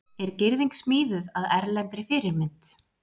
Er girðing smíðuð að erlendri fyrirmynd